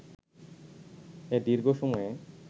এ দীর্ঘ সময়ে